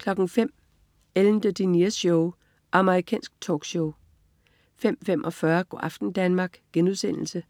05.00 Ellen DeGeneres Show. Amerikansk talkshow 05.45 Go' aften Danmark* 06.30